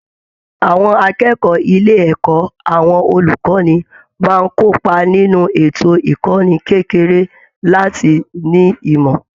Àwọn akẹ́kọ̀ọ́ ilé ẹ̀kọ́ àwọn olùkọ́ni máa ń kópa nínú ètò ìkọ́ni kékeré láti ní ìmọ̀